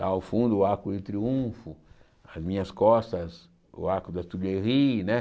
Lá ao fundo, o Arco do Triunfo, às minhas costas, o Arco da Tourguerie, né?